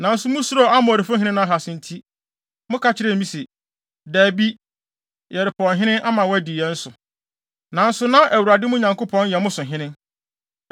“Nanso musuroo Amonfo hene Nahas nti, moka kyerɛɛ me se, ‘Dabi, yɛrepɛ ɔhene ama wadi yɛn so’—nanso na Awurade mo Nyankopɔn yɛ mo so hene.